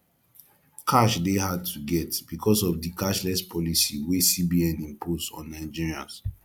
cash de hard to get because of di cashless policy wey cbn impose on nigerians